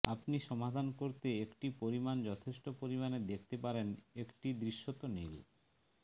আপনি সমাধান করতে একটি পরিমাণ যথেষ্ট পরিমাণে দেখতে পারেন একটি দৃশ্যত নীল